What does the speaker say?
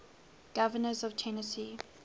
governors of tennessee